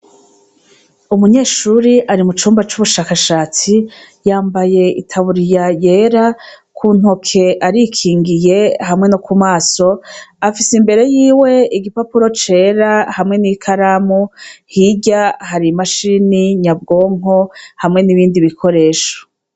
Umunyeshuri ari mu cumba c'ubushakashatsi yambaye itaburiya yera ku ntoke arikingiye hamwe no ku maso afise imbere yiwe igipapuro cera hamwe n'i karamu hirya hari i mashini nyabwonko hamwe n'ibindi bikoresho.